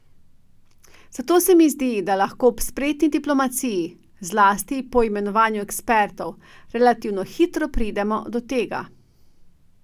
Zato se mi zdi, da lahko ob spretni diplomaciji, zlasti po imenovanju ekspertov, relativno hitro pridemo do tega.